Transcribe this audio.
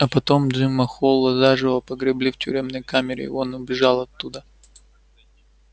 а потом джима холла заживо погребли в тюремной камере и он убежал оттуда